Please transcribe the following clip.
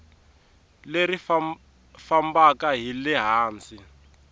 leri fambaka hi le hansi